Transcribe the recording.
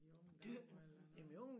I unge dage eller noget